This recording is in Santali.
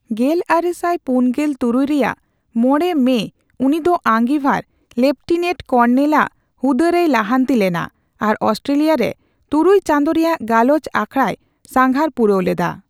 ᱜᱮᱞᱟᱨᱮᱥᱟᱭ ᱯᱩᱱᱜᱮᱞ ᱛᱩᱨᱩᱭ ᱨᱮᱭᱟᱜ ᱢᱚᱲᱮ ᱢᱮ ᱩᱱᱤᱫᱚ ᱟᱸᱜᱤᱵᱷᱟᱨ ᱞᱮᱯᱴᱤᱱᱮᱸᱴ ᱠᱚᱨᱱᱮᱞ ᱟᱜ ᱦᱩᱫᱟᱹ ᱨᱮᱭ ᱞᱟᱦᱟᱱᱛᱤ ᱞᱮᱱᱟ ᱟᱨ ᱚᱥᱴᱨᱮᱞᱤᱭᱟᱹ ᱨᱮ ᱛᱩᱨᱩᱭ ᱪᱟᱸᱫᱚ ᱨᱮᱭᱟᱜ ᱜᱟᱞᱚᱪ ᱟᱠᱷᱲᱟᱭ ᱥᱟᱸᱜᱷᱟᱨ ᱯᱩᱨᱟᱹᱣ ᱞᱮᱫᱟ ᱾